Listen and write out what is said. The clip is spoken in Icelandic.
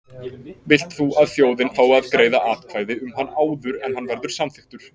Vilt þú að þjóðin fái að greiða atkvæði um hann áður en hann verður samþykktur?